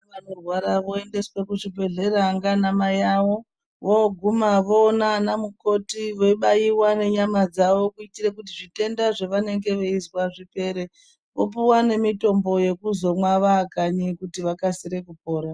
Vana vanorwara voendeswe ku zvibhedhlera ngana mai avo voguma voona ana mukoti vei baiwa ne nyama dzavo kuitire kuti zvitenda zvavanenge veizwa zvipere vopuwa ne mitombo yekuzomwa vakanyi kuti vakasire kupora.